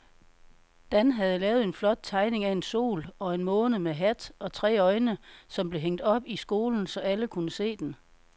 Dan havde lavet en flot tegning af en sol og en måne med hat og tre øjne, som blev hængt op i skolen, så alle kunne se den.